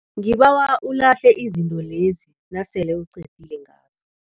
Ngibawa ulahle izinto lezi nasele uqedile ngazo.